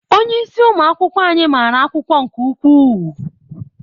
Onyeisi ụmụ akwụkwọ anyị mara akwụkwọ nke ukwuu.